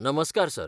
नमस्कार सर.